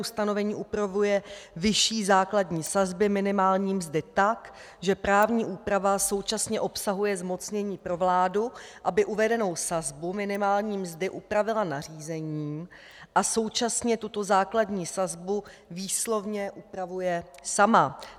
Ustanovení upravuje vyšší základní sazby minimální mzdy tak, že právní úprava současně obsahuje zmocnění pro vládu, aby uvedenou sazbu minimální mzdy upravila nařízením, a současně tuto základní sazbu výslovně upravuje sama.